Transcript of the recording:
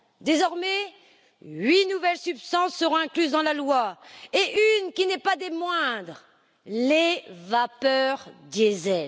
Désormais, huit nouvelles substances seront incluses dans la loi, et une qui n'est pas des moindres les vapeurs diesel.